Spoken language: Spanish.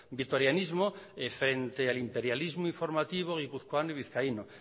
vitorianismo frente al imperialismo informativo guipuzcoano y vizcaíno